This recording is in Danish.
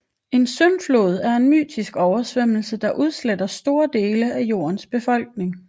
En syndflod er en mytisk oversvømmelse der udsletter store dele af jordens befolkning